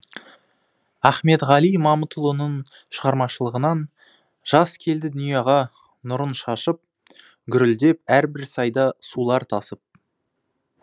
ахмедғали мамытұлының шығармашылығынан жаз келді дүнияға нұрын шашып гүрілдеп әрбір сайда сулар тасып